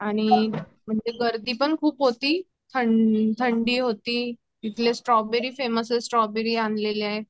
आणि म्हणजे गर्दी पण खूप होती, ठंडी होती तिथले स्ट्रॉबेरी फ़ेमस आहेत ते आणल्या आहेत.